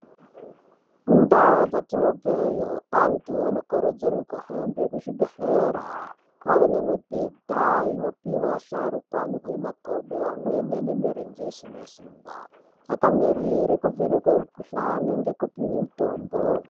Mundaa dzatinobveyo, antu anokurudzirwe kuhambe kuzvibhedhlera. Kwaane mibhedha inopihwa asharukwa anohwe magodo, amweni ane mirenje isina simba, akamirire kuvhenekwe mukhuhlani nekupihwe mitombo.